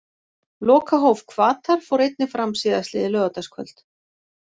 Lokahóf Hvatar fór einnig fram síðastliðið laugardagskvöld.